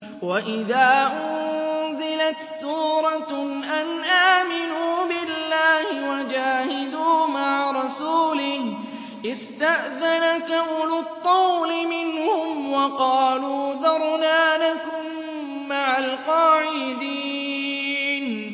وَإِذَا أُنزِلَتْ سُورَةٌ أَنْ آمِنُوا بِاللَّهِ وَجَاهِدُوا مَعَ رَسُولِهِ اسْتَأْذَنَكَ أُولُو الطَّوْلِ مِنْهُمْ وَقَالُوا ذَرْنَا نَكُن مَّعَ الْقَاعِدِينَ